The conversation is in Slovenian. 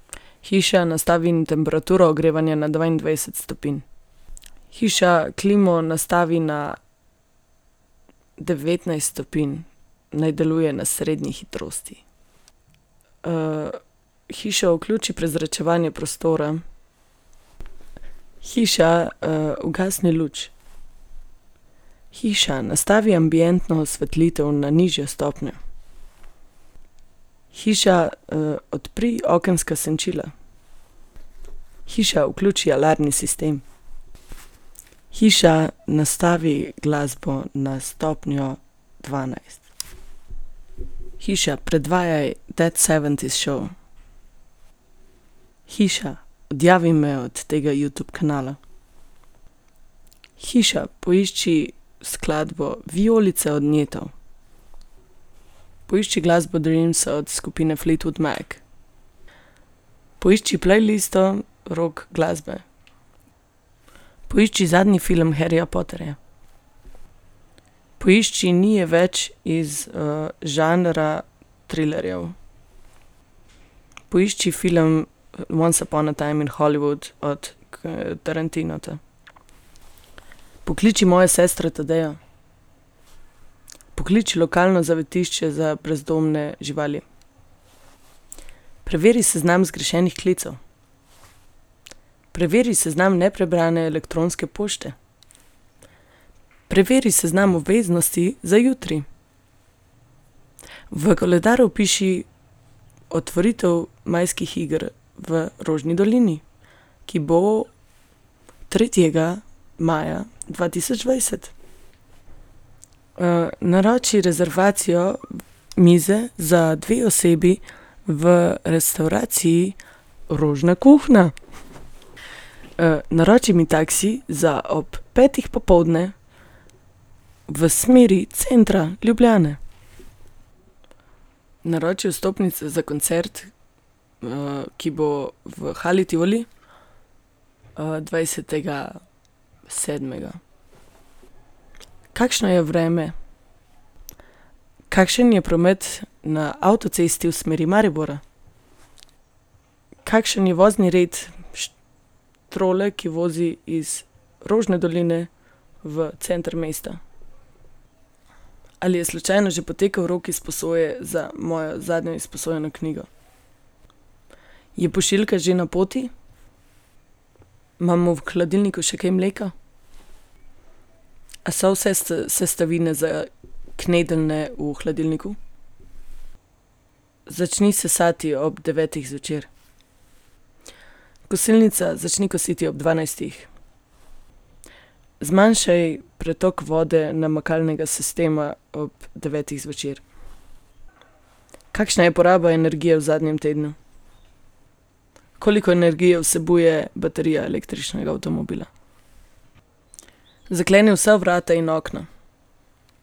Hiša, nastavi temperaturo ogrevanja na dvaindvajset stopinj. Hiša, klimo nastavi na devetnajst stopinj. Naj deluje na srednji hitrosti. hiša, vključi prezračevanje prostora. Hiša, ugasni luč. Hiša, nastavi ambientno osvetlitev na nižjo stopnjo. Hiša, odpri okenska senčila. Hiša, vključi alarmni sistem. Hiša, nastavi glasbo na stopnjo dvanajst. Hiša, predvajaj That seventies show. Hiša, odjavi me od tega Youtube kanala. Hiša, poišči skladbo Vijolice od Nietov. Poišči glasbo Dreams od skupine Fleetwood Mac. Poišči playlisto rock glasbe. Poišči zadnji film Harryja Potterja. Poišči Ni je več iz, žanra trilerjev. Poišči film Once upon a time in Hollywood od Tarantina. Pokliči mojo sestro Tadejo. Pokliči lokalno zavetišče za brezdomne živali. Preveri seznam zgrešenih klicev. Preveri seznam neprebrane elektronske pošte. Preveri seznam obveznosti za jutri. V koledar vpiši otvoritev majskih iger v Rožni dolini, ki bo tretjega maja dva tisoč dvajset. naroči rezervacijo mize za dve osebi v restavraciji Rožna kuhinja. naroči mi taksi za ob petih popoldne v smeri centra Ljubljane. Naroči vstopnice za koncert, ki bo v Hali Tivoli, dvajsetega sedmega. Kakšno je vreme? Kakšen je promet na avtocesti v smeri Maribora? Kakšen je vozni red trole, ki vozi iz Rožne doline v center mesta? Ali je slučajno že potekel rok izposoje za mojo zadnjo izposojeno knjigo? Je pošiljka že na poti? Imamo v hladilniku še kaj mleka? A so vse sestavine za knedeljne v hladilniku? Začni sesati ob devetih zvečer. Kosilnica, začni kositi ob dvanajstih. Zmanjšaj pretok vode namakalnega sistema ob devetih zvečer. Kakšna je poraba energije v zadnjem tednu? Koliko energije vsebuje baterija električnega avtomobila? Zakleni vsa vrata in okna.